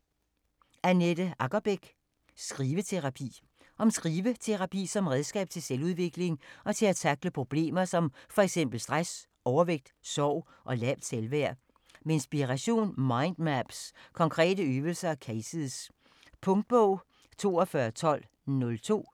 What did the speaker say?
Aggerbeck, Annette: Skriveterapi Om skriveterapi som redskab til selvudvikling og til at tackle problemer som fx stress, overvægt, sorg og lavt selvværd. Med inspiration, mind maps, konkrete øvelser og cases. Punktbog 421202 2021. 6 bind.